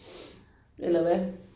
Eller hvad